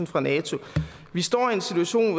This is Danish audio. fra nato vi står i en situation